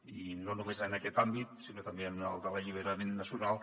i no només en aquest àmbit sinó també en el de l’alliberament nacional